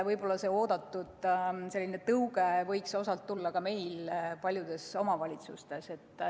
Võib-olla see oodatud tõuge võiks osalt tulla ka meie paljudelt omavalitsustelt.